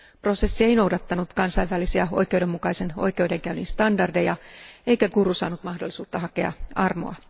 Prosessi ei noudattanut kansainvälisiä oikeudenmukaisen oikeudenkäynnin standardeja eikä Guru saanut mahdollisuutta hakea armoa.